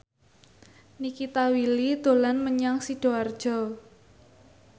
Nikita Willy dolan menyang Sidoarjo